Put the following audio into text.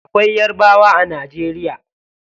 Akwai yarabawa a najeriya.